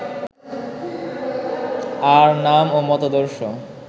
আর নাম ও মতাদর্শ